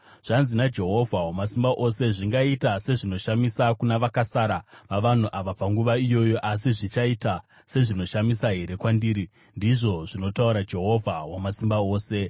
Zvanzi naJehovha Wamasimba Ose: “Zvingaita sezvinoshamisa kuna vakasara vavanhu ava panguva iyoyo, asi zvichaita sezvinoshamisa here kwandiri?” ndizvo zvinotaura Jehovha Wamasimba Ose.